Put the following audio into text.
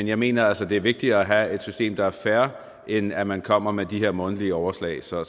jeg mener altså at det er vigtigere at have et system der er fair end at man kommer med de her månedlige overslag så